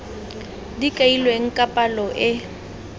di kailweng ka palo e